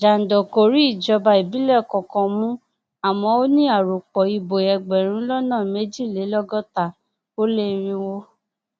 jandor kò rí ìjọba ìbílẹ kankan mu àmọ ó ní arọpò ìbò ẹgbẹrún lọnà méjìlélọgọta ó lé irínwó